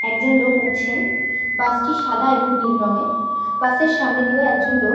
একজন লোক উঠছেন বাসটি সাদা এবং নীল রং এর বাসের সামনে দিয়েও একজন লোক--